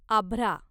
आभ्रा